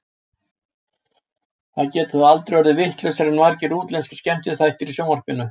Það getur þó aldrei orðið vitlausara en margir útlenskir skemmtiþættir í sjónvarpinu.